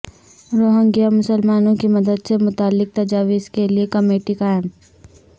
Rohingya مسلمانوں کی مدد سے متعلق تجاویز کے لیے کمیٹی قائم